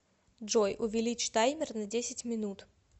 джой увеличь таймер на десять минут